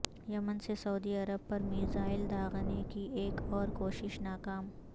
یمن سے سعودی عرب پر میزائل داغنے کی ایک اور کوشش ناکام